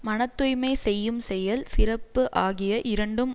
மன தூய்மை செய்யும் செயல் சிறப்பு ஆகிய இரண்டும்